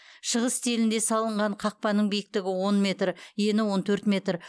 шығыс стилінде салынған қақпаның биіктігі он метр ені он төрт метр